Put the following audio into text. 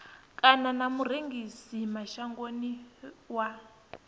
kana na murengisi mashangoni wa